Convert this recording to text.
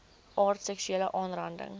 aard seksuele aanranding